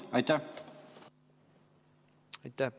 Aitäh!